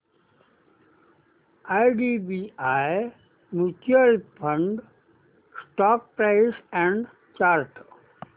IDBI mutual fund stock price and chart